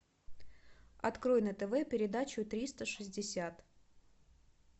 открой на тв передачу триста шестьдесят